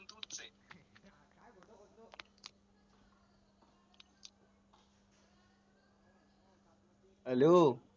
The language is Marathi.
hello